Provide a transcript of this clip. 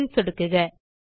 save ல் சொடுக்குக